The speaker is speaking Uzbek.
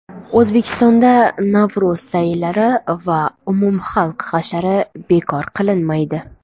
O‘zbekistonda Navro‘z sayillari va umumxalq hashari bekor qilinmaydi.